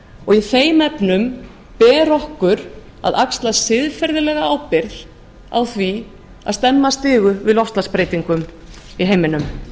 og í þeim efnum ber okkur að axla siðferðilega ábyrgð á því að stemma stigu við loftslagsbreytingum í heiminum